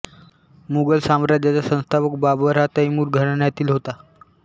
मुघल साम्राज्याचा संस्थापक बाबर हा तैमूर घराण्यातील होता